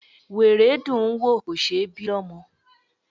Wèrè dùn ún wò, kò ṣe ẹ́ bí lọ́mọ.